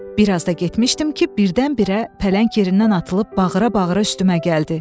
Bir az da getmişdim ki, birdən-birə pələng yerindən atılıb bağıra-bağıra üstümə gəldi.